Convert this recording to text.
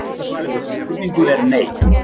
Stutta svarið við þessari spurningu er nei.